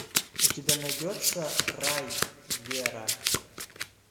у тебя найдется рай вера